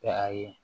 ayi